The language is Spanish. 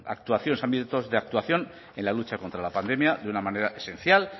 ámbitos de actuación en la lucha contra la pandemia de una manera esencial